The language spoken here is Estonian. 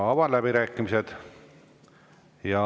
Avan läbirääkimised.